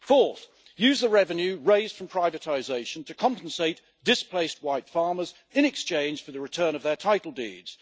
Fourth, use the revenue raised from privatisation to compensate displaced white farmers in exchange for the return of their title deeds.